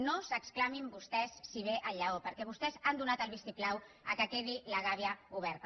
no s’exclamin vostès si ve el lleó perquè vostès han donat el vistiplau que quedi la gàbia oberta